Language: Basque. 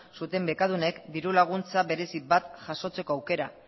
zuten bekadunek dirulaguntza berezi bat jasotzeko aukera